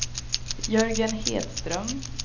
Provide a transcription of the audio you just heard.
Jörgen Hedström